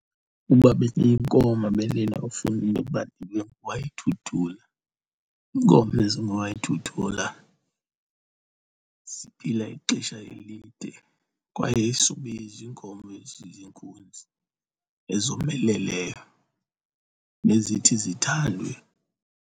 Uba bendiyinkomo bendinofuna into yoba ndibe nguWayidudula. Iinkomo ezingooWayidudula ziphila ixesha elide kwaye isube iziinkomo eziziinkunzi ezomeleleyo nezithi zithandwe.